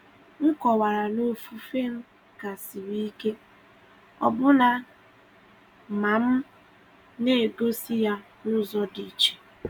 M kọ̀wara na ofufe m ka siri ike, ọbụna ma m na-egosi ya n’ụzọ dị iche.